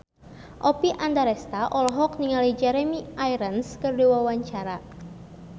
Oppie Andaresta olohok ningali Jeremy Irons keur diwawancara